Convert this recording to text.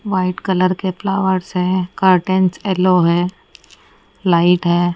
White colour के flowers है carton yellow है लाइट है।